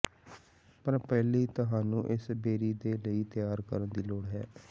ਪਰ ਪਹਿਲੀ ਤੁਹਾਨੂੰ ਇਸ ਬੇਰੀ ਦੇ ਲਈ ਤਿਆਰ ਕਰਨ ਦੀ ਲੋੜ ਹੈ